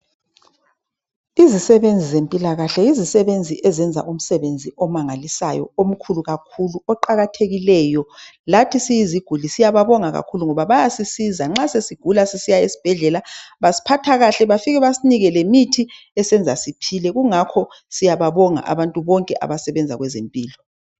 Izisebenzi zempilakahle yizisebenzi ezenza umsebenzi omangalisayo omkhulu kakhulu oqakathekileyo. Lathi siyiziguli siyababonga kakhulu ngoba bayasisiza nxa sesigula sesisiya esibhedlela basiphatha kahle. Bafike basinike lemithi esenza siphile kungakho siyababonga abantu bonke abasebenza kwezempilo.